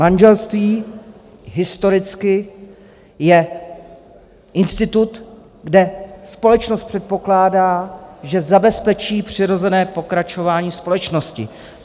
Manželství historicky je institut, kde společnost předpokládá, že zabezpečí přirozené pokračování společnosti.